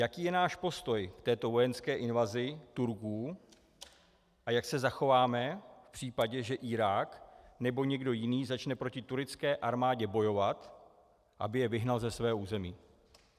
Jaký je náš postoj k této vojenské invazi Turků a jak se zachováme v případě, že Irák nebo někdo jiný začne proti turecké armádě bojovat, aby je vyhnal ze svého území?